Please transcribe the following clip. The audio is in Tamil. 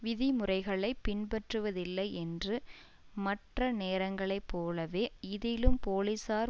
விதிமுறைகளை பின்பற்றுவதில்லை என்று மற்ற நேரங்களை போலவே இதிலும் போலீசார்